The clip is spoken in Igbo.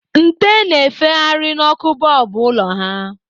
Nte na-efegharị n'ọkụ bọlbụ ụlọ ha.